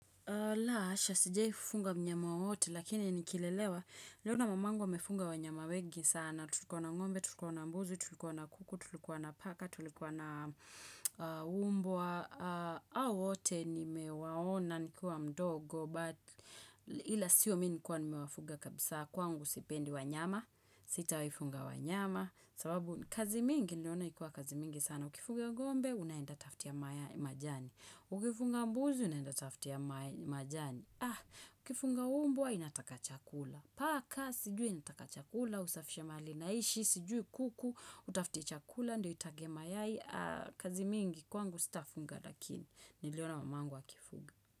La, hasha, sijaifunga mnyama wowote, lakini nikilelewa. Niliona mamangu amefunga wanyama wengi sana. Tulikuwa na ngombe, tulikuwa na mbuzi, tulikuwa na kuku, tulikuwa na paka, tulikuwa na mbwa hawote nimewaona, nikiwa mdogo, but ila sio mimi nilikua nimewafunga kabisa. Kwangu sipendi wanyama, sitawaifuga wanyama. Sababu, kazi mingi naona ikiwa kazi mingi sana. Ukifuga ngombe, unaenda tafutia majani. Ukifuga mbuzi unaenda tafutia majani, ukifuga mbwa inataka chakula Paka, sijui inataka chakula, usafishe mahali inaishi, sijui kuku Utafte chakula, ndio itage mayai kazi mingi kwangu sitafuga lakini Niliona mamangu akifuga.